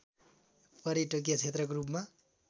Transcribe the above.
पर्यटकीय क्षेत्रको रूपमा